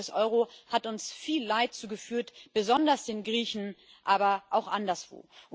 Die Krise des Euro hat uns viel Leid zugefügt besonders den Griechen, aber auch anderswo.